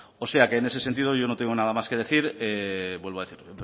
o sea que en ese sentido yo no tengo nada más que decir